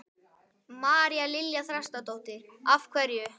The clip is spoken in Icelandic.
María Lilja Þrastardóttir: Af hverju?